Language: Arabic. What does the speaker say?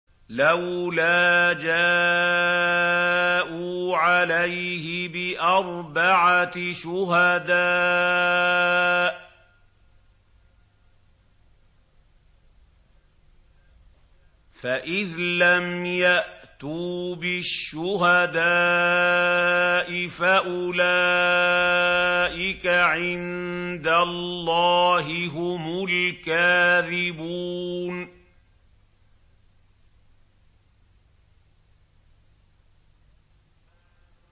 لَّوْلَا جَاءُوا عَلَيْهِ بِأَرْبَعَةِ شُهَدَاءَ ۚ فَإِذْ لَمْ يَأْتُوا بِالشُّهَدَاءِ فَأُولَٰئِكَ عِندَ اللَّهِ هُمُ الْكَاذِبُونَ